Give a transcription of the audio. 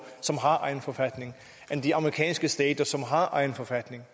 som har egen forfatning og end de amerikanske stater som har egen forfatning